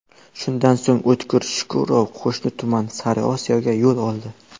Shundan so‘ng, O‘tkir Shukurov qo‘shni tuman Sariosiyoga yo‘l oldi.